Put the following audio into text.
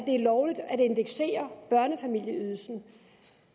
lovligt at indeksere børnefamilieydelsen